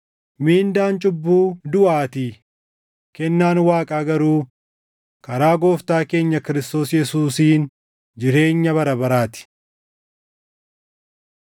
Mindaan cubbuu duʼaatii; kennaan Waaqaa garuu karaa Gooftaa keenya Kiristoos Yesuusiin jireenya bara baraa ti.